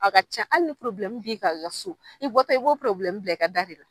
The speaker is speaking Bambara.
A ka ca hali ni bi kan aw ka so, i bɔtɔ i b'o bila i ka da de la